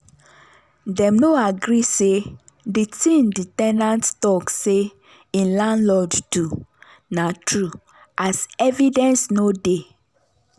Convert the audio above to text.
dem no agree say the thing the ten ant talk say hin landlord do na true as evidence no dey.